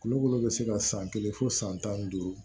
Kulokoro bɛ se ka san kelen fɔ san tan ni duuru